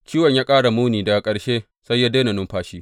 Ciwon ya ƙara muni, daga ƙarshe sai ya daina numfashi.